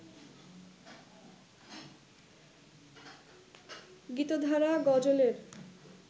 গীতধারা গজলের